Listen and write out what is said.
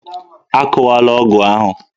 Akụwala ọgụ ahụ!